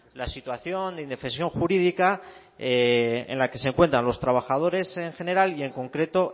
la situación de indefensión jurídica en la que se encuentran los trabajadores en general y en concreto